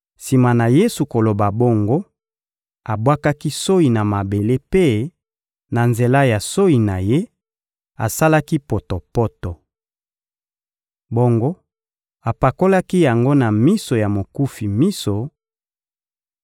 Sima na Yesu koloba bongo, abwakaki soyi na mabele mpe, na nzela ya soyi na Ye, asalaki potopoto. Bongo apakolaki yango na miso ya mokufi miso